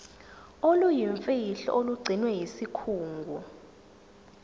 oluyimfihlo olugcinwe yisikhungo